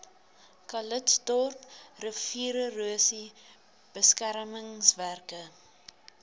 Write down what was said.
calitzdorp riviererosie beskermingswerke